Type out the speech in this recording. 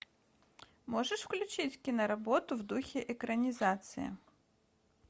можешь включить киноработу в духе экранизации